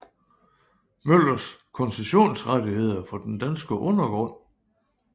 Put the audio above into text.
Møllers koncessionsrettigheder for den danske undergrund